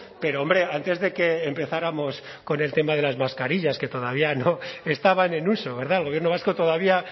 pero hombre antes de que empezáramos con el tema de las mascarillas que todavía no estaban en uso verdad el gobierno vasco todavía